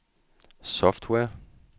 software